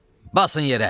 Basın yerə!